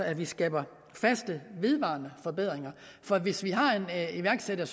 at vi skaber faste vedvarende forbedringer for hvis en iværksætter